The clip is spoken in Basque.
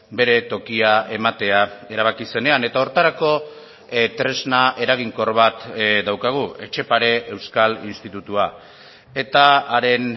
bere tokia ematea erabaki zenean eta horretarako tresna eraginkor bat daukagu etxepare euskal institutua eta haren